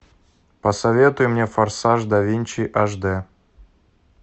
посоветуй мне форсаж да винчи аш дэ